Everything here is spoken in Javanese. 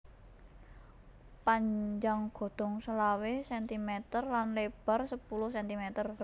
Panjang godhong selawe centimeter lan lebar sepuluh centimeter